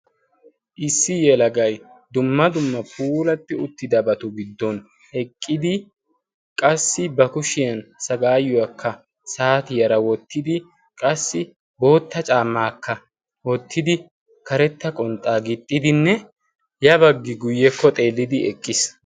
Issi yelagay dumma dumma puulatti uttidabatu giddon eqqidi qassi ba kushiyan sagaayuwaakka saati yara woottidi qassi bootta caamaakka oottidi karetta qonxxaa giixxidinne yabaggi guyyekko xeellidi eqqiis.